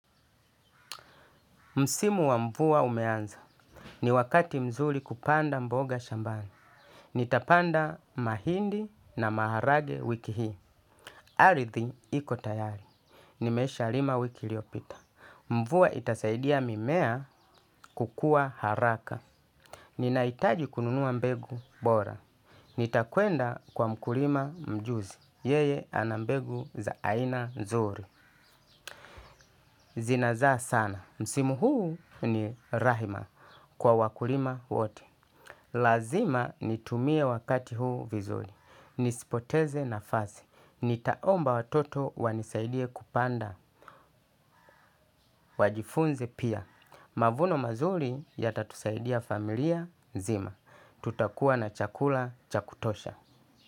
Msimu wa mvua umeanza, ni wakati mzuri kupanda mboga shambani. Nitapanda mahindi na maharage wiki hii. Aridhi iko tayari, nimesha lima wiki iliyopita. Mvua itasaidia mimea kukua haraka ninahitaji kununua mbegu bora. Nitakwenda kwa mkima mjuzi, yeye ana mbegu za aina nzuri zinazaa sana msimi huu ni rahima kwa wakulima wote lazima nitumie wakati huu vizuri nisipoteze nafasi nitaomba watoto wanisaidie kupanda. Wajifunze pia. Mavuno mazuri yatatusaidia familia zima. Tutakuwa na chakula cha kutosha.